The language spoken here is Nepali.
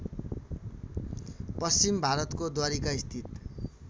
पश्चिम भारतको द्वारिकास्थित